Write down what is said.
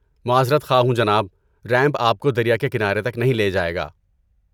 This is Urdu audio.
معذرت خواہ ہوں جناب. ریمپ آپ کو دریا کے کنارے تک نہیں لے جائے گا۔